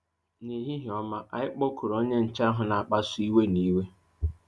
N'ehihie ọma, 'anyị kpọkuru onye nche ahụ na-akpasu iwe na iwe.